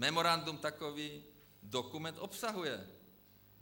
Memorandum takový dokument obsahuje.